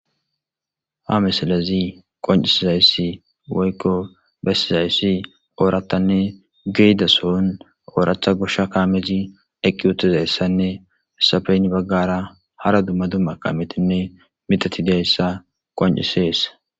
ha misalezi qoncisizaysi woyko bessizayssi ooratanne geyda sohon ooratha gosha kaamezi eqqi utezayssanne hesappe hara baggara hara dumma dumma kametinne mitati dayssa qoncisees